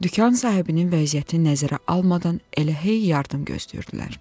Dükan sahibinin vəziyyətini nəzərə almadan elə hey yardım gözləyirdilər.